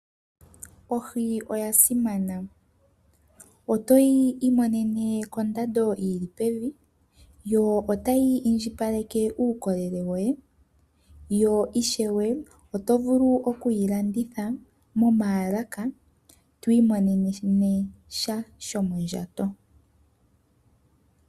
Ohi oya simana. Otoyi imomene kondando yili pevi. Yo otayi indjipaleke uukolele woye , yo ishewe oto vulu okuyi landitha ,momaalaka twiimonene mo sha shomondjato.